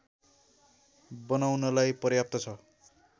बनाउनलाई पर्याप्त छ